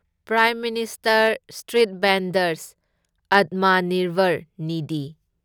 prime minister street vendors Atmanirbhar Nidhi